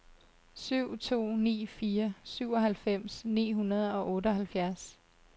syv to ni fire syvoghalvfems ni hundrede og otteoghalvfjerds